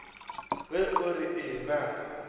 ge o re ee na